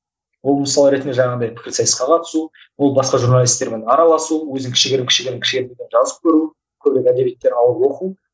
ол мысалы ретінде жаңағындай пікірсайысқа қатысу ол басқа журналистермен араласу өзін кішігірім кішігірім жазып көру көркем әдебиеттер алып оқу